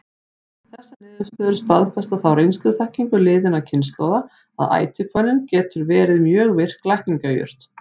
Þessar niðurstöður staðfesta þá reynsluþekkingu liðinna kynslóða, að ætihvönnin getur verið mjög virk lækningajurt.